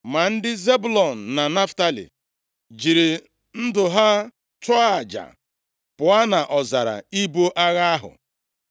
Ma ndị Zebụlọn na Naftalị jiri ndụ ha chụọ aja, pụọ nʼọzara ibu agha ahụ.